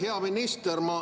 Hea minister!